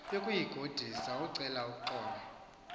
yokuyigodusa ukucela uxolo